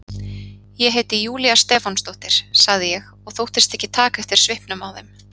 Ég heiti Júlía Stefánsdóttir, sagði ég og þóttist ekki taka eftir svipnum á þeim.